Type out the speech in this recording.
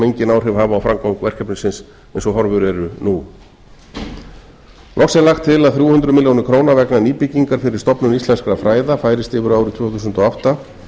engin áhrif hafa á framgang verkefnisins eins og horfur eru nú loks er lagt til að þrjú hundruð milljóna króna vegna nýbyggingar fyrir stofnun íslenskra fræða færist yfir á árið tvö þúsund og átta